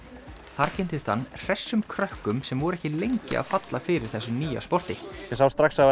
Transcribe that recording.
þar kynntist hann hressum krökkum sem voru ekki lengi að falla fyrir þessu nýja sporti ég sá strax að